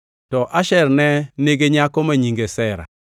To Asher ne nigi nyako ma nyinge Sera.